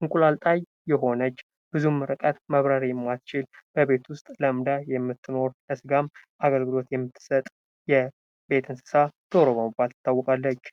እንቁላል ጣይ የሆነች ብዙም ርቀት መብረር የማትችል በቤት ዉስጥ ለምዳ የምትኖር ለስጋም አገልግሎት የምትሰጥ የቤት እንስሳ ዶሮ በመባል ትታወቃለች::